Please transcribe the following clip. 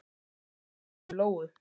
Hann var að hugsa um Lóu.